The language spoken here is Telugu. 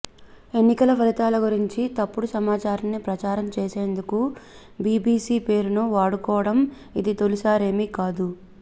ఎన్నికల ఫలితాల గురించి తప్పుడు సమాచారాన్ని ప్రచారం చేసేందుకు బీబీసీ పేరును వాడుకోవడం ఇది తొలిసారేమీ కాదు